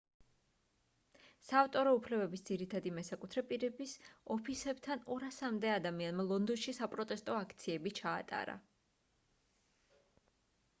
საავტორო უფლებების ძირითადი მესაკუთრე პირების ოფისებთან 200-მდე ადამიანმა ლონდონში საპროტესტო აქციები ჩაატარა